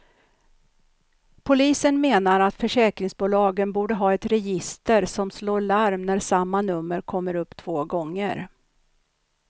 Polisen menar att försäkringsbolagen borde ha ett register som slår larm när samma nummer kommer upp två gånger.